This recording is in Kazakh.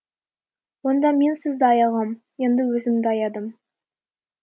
онда мен сізді аяғам енді өзімді аядым